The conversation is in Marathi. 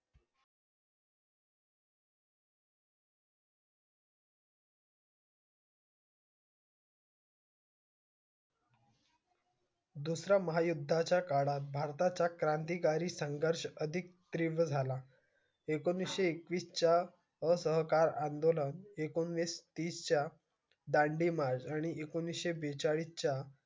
दुसऱ्या महायुध्दा च्या काळ्या भरता चा क्रांती कारी संघ अधिक तीव्र झाला एकोणीशे च्या असहकार आंदोलन एकोणवीस तीस च्या दांडीमार आणि एकोणीशे बेचाळीस च्या